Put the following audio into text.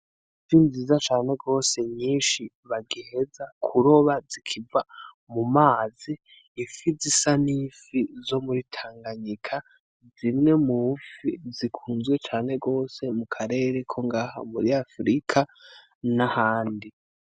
Ifi nziza cane gose nyinshi bagiheza kuroba zikiva mumazi , ifi zisa n'ifi zo muri Tanganyika zimwe m'ufi zikunzwe cane gose mukarere ko ngaha muri afurika nahandi .